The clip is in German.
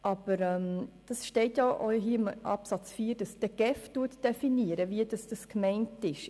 Aber im Absatz 4 steht, dass die GEF definiert, wie das gemeint ist.